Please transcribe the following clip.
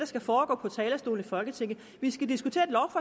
skal foregå på talerstolen i folketinget vi skal diskutere